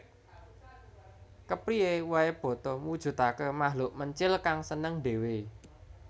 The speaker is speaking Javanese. Kepriyé waé boto mujudaké makhluk mencil kang seneng ndhéwé